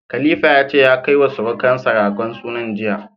Khalifa ya ce ya kai wa sirukansa ragon sunan jiya.